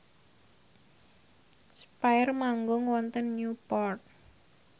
spyair manggung wonten Newport